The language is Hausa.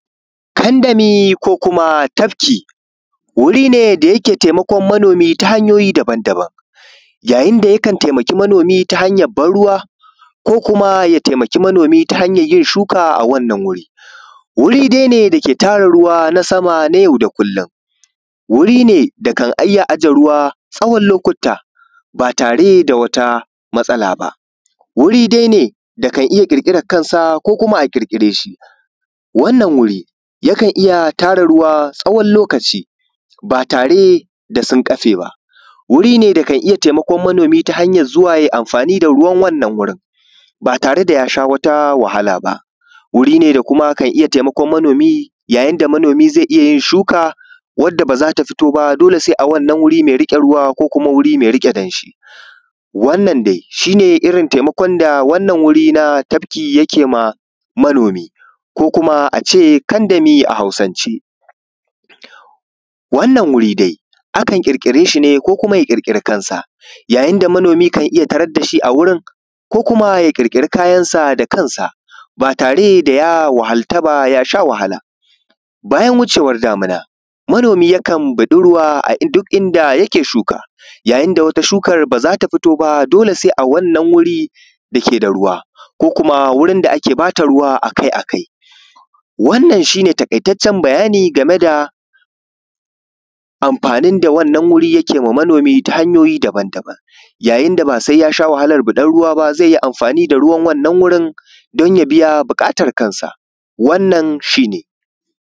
Tandami ko kumatafki wuri ne da yake taimakon manomi ta hanyoyi daban daban, ya yinda yakan taimaki manomi ta hanyan ban ruwa ko kuma ya taimaki manomi ta hanyan yin shuka a wannan guri. Wuri dai ne dake tara ruwa na sama nay au da kullum, wuri ne dakan iyya aje ruwa tsawon lokuta ba tare da wata matsala ba, wuri dai ne dakan iyya ƙirƙiran kansa ko kuma a ƙirƙireshi, wannan wuri yakan iyya tara ruwa tsawon loakci ba tareda sun ƙafe ba. Wurine dakan iyya taimakon manomi ta hanyan zuwa yai amfani da ruwa wannan wurin ba tareda yasha wata wahala ba, wuri ne da kuma kan iyya taimakon manomi ba tareda manomi yasha wata wahali ba. Wuri ne da kuma kan iyya taimakon manomi ya yinda manomi zai iyyayin shuka wadda bazata fito ba dole sai a wannan wuri mai riƙe ruwa ko kuma wuri mai riƙe damshi. Wanna dai shine irrin taimakon da wannan wuri na tafki kema manomi ko kuma ace kandami a hausance. Wannan wui dai akan ƙirƙireshi ne ko kuma ya ƙirƙiri kansa inda manomi kan iyyya tarar dashi a wurin ko kuma ya ƙirƙiri kayansa da kansa ba tareda ya wahala yasha wahala ba. Bayan wucewan damina manomi yakan biɗar ruwa a duk inda yake shuka, ya yinda wata shukar bazata fito ba dole sai a wannan wurin da yake shuka ko kuma wurin da ake bata ruwa akai kai. Wannan shine taƙaitaccen bayani gameda amfanin da wannan wuri yakewa manomi ta hanyoyi daban daban yayin da basai yasha wahalar biɗar ruwa ba zaiyi amfani da ruwan wannan wurin danya biya buƙatar sa wannan shine.